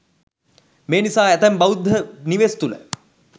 මේ නිසා ඇතැම් බෞද්ධ නිවෙස් තුළ